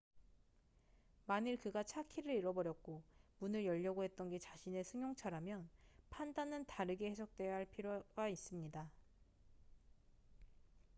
만일 그가 차 키를 잃어버렸고 문을 열려고 했던 게 자신의 승용차라면 판단은 다르게 해석되어야 할 필요가 있습니다